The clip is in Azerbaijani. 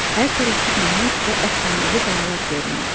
Hər tərəfdə nəhəng və əfsanəvi qayalar görünürdü.